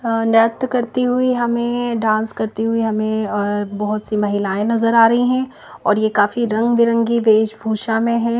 नृत्य करती हुई हमें डांस करती हुई हमें बहुत सी महिलाएँ नजर आ रही हैं और ये काफी रंग-बिरंगी वेशभूषा में है।